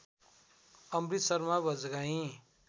Amrit Sharma Bajgai